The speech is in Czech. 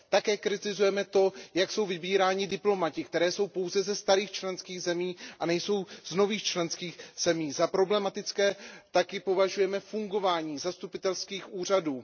Také kritizuje to, jak jsou vybíráni diplomaté, kteří jsou pouze ze starých členských zemí a nejsou z nových členských zemí. Za problematické také považujeme fungování zastupitelských úřadů.